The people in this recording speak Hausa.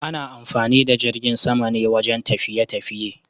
Ana amfani da jirgin sama ne wajen tafiye-tafiye.